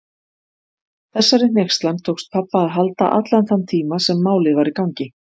Þessari hneykslan tókst pabba að halda allan þann tíma sem Málið var í gangi.